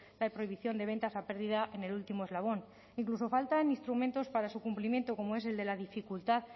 la prohibición de ventas a pérdida en el último eslabón incluso faltan instrumentos para su cumplimiento como es el de la dificultad